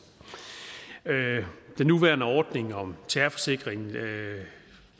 den nuværende ordning om terrorforsikring